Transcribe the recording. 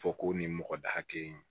Fɔ ko nin mɔgɔ da hakɛ in